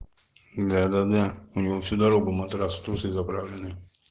да да мне всю дорогу матрас в трусы заправлены